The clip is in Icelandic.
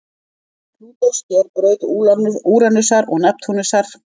Braut Plútós sker braut Úranusar og Neptúnusar.